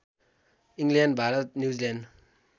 England Bharat New Zealand